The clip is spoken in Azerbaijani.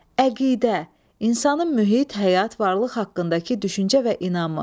Əqidə, insanın mühit, həyat, varlıq haqqındakı düşüncə və inamı.